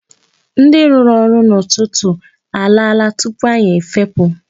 Ndị rụrụ ọrụ n'ụtụtụ alaala tupu anyị efepụ.